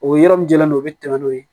O yɔrɔ min jalen don u bɛ tɛmɛ n'o ye